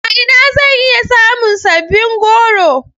A ina zan iya samun sabbin goro.